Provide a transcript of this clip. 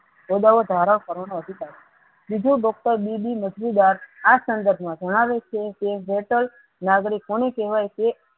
ઓદાઓ ધારણ કરનો અધિકાર બીજો ડોક્ટર બી બી આ સંદ્ર્ફ મા ઘણા લોકો છે તે નાગરિક કોને કેહવાય તેને